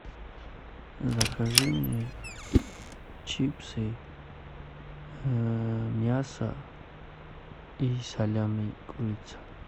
закажи мне чипсы мясо и салями курица